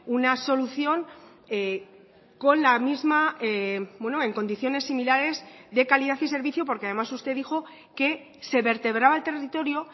una solución con la misma en condiciones similares de calidad y servicio porque además usted dijo que se vertebraba el territorio